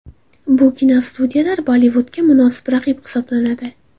Bu kinostudiyalar Bollivudga munosib raqib hisoblanadi.